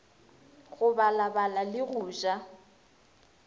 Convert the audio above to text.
go balabala le go ja